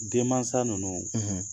Denmansa ninnu